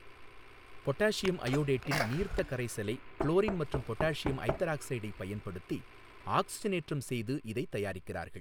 Potassium அயோடேட்டின் நீர்த்த கரைசலை குளோரின் மற்றும் பொட்டாசியம் ஐதாரக்சைடைப் பயன்படுத்தி ஆக்சிசனேற்றம் செய்து இதைத் தயாரிக்கிறார்கள்.